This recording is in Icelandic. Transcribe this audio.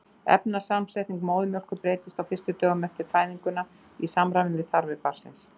efnasamsetning móðurmjólkur breytist á fyrstu dögum eftir fæðinguna í samræmi við þarfir barnsins